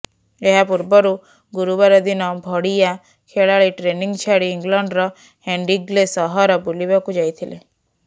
ଏହା ପୂର୍ବରୁ ଗୁରୁବାର ଦିନ ଭଡ଼ିୟା ଖେଳାଳି ଟ୍ରେନିଂ ଛାଡି ଇଂଲଣ୍ଡର ହେଣ୍ଡିଗ୍ଲେ ସହର ବୁଲିବାକୁ ଯାଇଥିଲେ